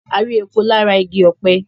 a rí epo lára igi ọ̀pẹ